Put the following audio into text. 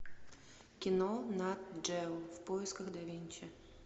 кино нат джео в поисках да винчи